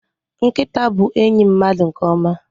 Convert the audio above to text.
Nkịta bụ enyi mmadụ nke ọma.